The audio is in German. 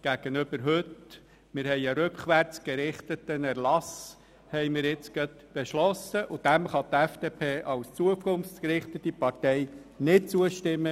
Wir beschliessen einen rückwärtsgerichteten Erlass, und diesem kann die FDP als zukunftsgerichtete Partei nicht zustimmen.